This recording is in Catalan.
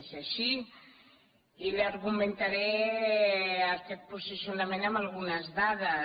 és així i li argumentaré aquest posicionament amb algunes dades